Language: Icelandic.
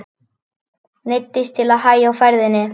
Neyddist til að hægja á ferðinni.